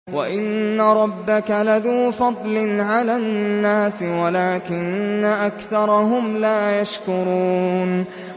وَإِنَّ رَبَّكَ لَذُو فَضْلٍ عَلَى النَّاسِ وَلَٰكِنَّ أَكْثَرَهُمْ لَا يَشْكُرُونَ